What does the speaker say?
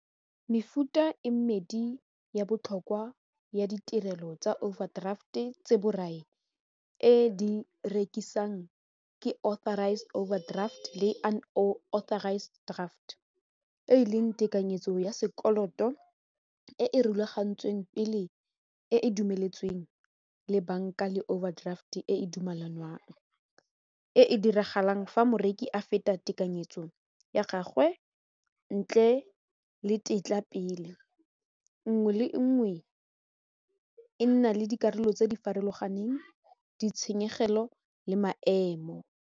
Mefuta e medi ya botlhokwa ya ditirelo tsa overdraft e tse borai e di rekisang ke authorised overdraft le unauthorised draft e leng tekanyetso ya sekoloto e e rulagantsweng pele e e dumeletsweng le banka le overdraft e e dumelanwang e e diragalang fa moreki a feta tekanyetso ya gagwe ntle le tetla pele, nngwe le nngwe e nna le dikarolo tse di farologaneng, ditshenyegelo le maemo.